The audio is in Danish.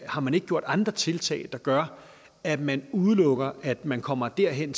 har man ikke gjort andre tiltag der gør at man udelukker at man kommer derhen